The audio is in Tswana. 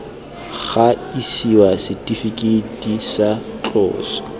ga isiwa setifikeiti sa tloso